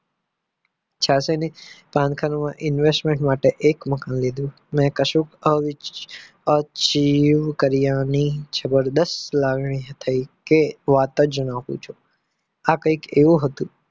છયાશી ની પાનખર મા investment માટે એક મકાન લીધું મેં કશુંક અવ achieve કર્યા ની જબરદસ્ત લાગણી થઈ કે વાત જ ન પૂછો આ કંઈક એવું હતું